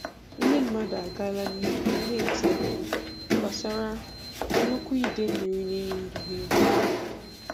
ndì mmadụ agàlà n'ìhè na-ètí mkpù gbasàrà nnukwu idemmírì na-èyí ndụ ha ègwu.